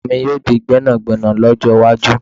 Ọmọ mi yóò di gbẹ́nàgbẹ́nà lọ́jọ́ iwájú